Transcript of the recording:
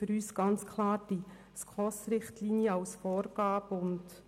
Für uns gelten ganz klar die SKOS-Richtlinien.